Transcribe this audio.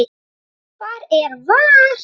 Hvar er VAR?